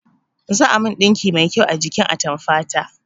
Za a min ɗinki mai kyau a jikin atamfa ta